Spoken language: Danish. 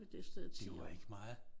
Det var ikke meget!